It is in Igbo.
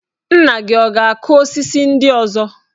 Nna gi ọ̀ ga-akụ osisi ndị ọzọ?